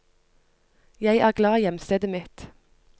Jeg er glad i hjemstedet mitt.